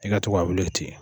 I ka to ka wuli ten.